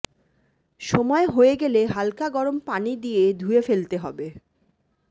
সময় হয়ে গেলে হালকা গরম পানি দিয়ে ধুয়ে ফেলতে হবে